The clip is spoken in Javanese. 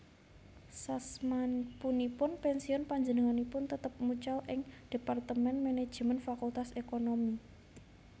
Sasmapunipun pensiun panjenenganipun tetep mucal ing Dhepartemen Manajemén Fakultas Ekonomi